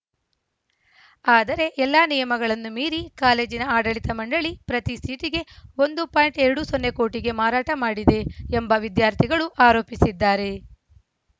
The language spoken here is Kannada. ಆದರೆ ಎಲ್ಲಾ ನಿಯಮಗಳನ್ನು ಮೀರಿ ಕಾಲೇಜಿನ ಆಡಳಿತ ಮಂಡಳಿ ಪ್ರತಿ ಸೀಟಿಗೆ ಒಂದು ಪಾಯಿಂಟ್ ಎರಡು ಸೊನ್ನೆ ಕೋಟಿಗೆ ಮಾರಾಟ ಮಾಡಿದೆ ಎಂಬ ವಿದ್ಯಾರ್ಥಿಗಳು ಆರೋಪಿಸಿದ್ದಾರೆ